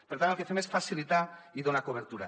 per tant el que fem és facilitar i donar cobertura